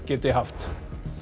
geti haft